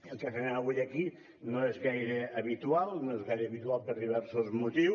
el que fem avui aquí no és gaire habitual no és gaire habitual per diversos motius